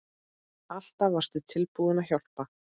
Alltaf varstu tilbúin að hjálpa.